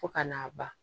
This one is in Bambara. Fo ka n'a ban